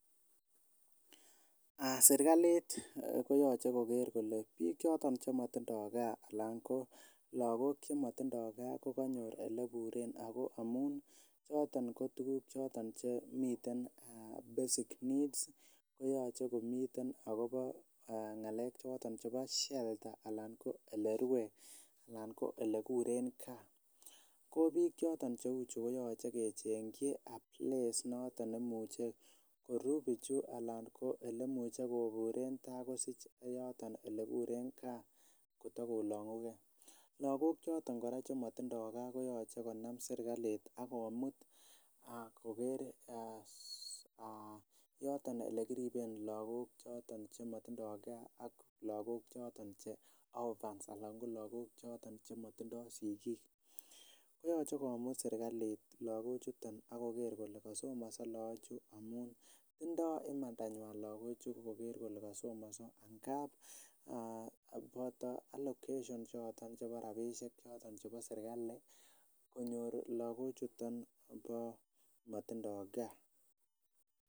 Serkalit koyoche koker kole biik choton chemotindoo kaa anan lakok chemotindoo kaa ko konyor eleburen ako amun choton ko tuguk choton miten basic needs koyoche komiten akobo ng'alek choton chebo shelter anan ko elekuren kaa ko biik choton cheu chu koyoche kechengyi a place noton nemuche koruu bichu ana ko elemuche koburen tai kosich yeyoton elekuren kaa yon kotakolong'u kee. Lagok choton kora chemotindoo kaa koyoche konam serkalit ak komut koker um yoton yekiriben lagok choton chemotindoo kaa ak lakok choton che orphans ana ko lakok choton chemotindoo sigik koyoche komut serkalit lakok chuton ak koker kole kasomonso amun tindoo imandanywan lakok chu koker kole kasomonso ngap boto allocation choton chebo serkali konyor lagok chuton komotindoo kaa